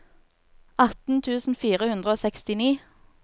atten tusen fire hundre og sekstini